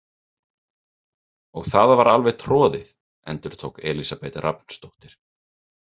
Og það var alveg troðið, endurtók Elísabet Rafnsdóttir.